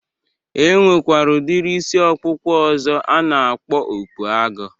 E nwekwara udiri isi ọkpụkpụ ọzọ a na-akpọ okpu agụ.